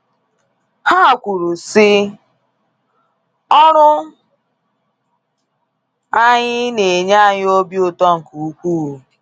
Ha kwuru sị: “Ọrụ anyị na enye anyị obi ụtọ nke ukwuu.